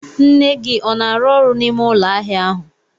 Nne gị ọ na arụ ọrụ n'ime ụlọ ahịa ahụ?